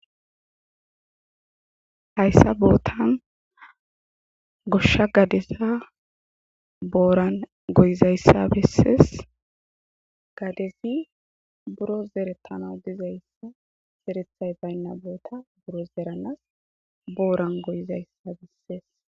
Hayssa bootan goshsha gadeza booran goyizaysa bessees. Gadezi buro zeretana dizaysa zerethay bayna boota woy buro zeranaw booran goyizaysa besees.